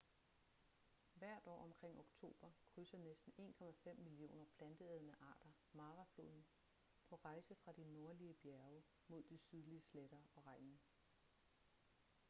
hvert år omkring oktober krydser næsten 1,5 millioner planteædende arter mara floden på rejse fra de nordlige bjerge mod de sydlige sletter og regnen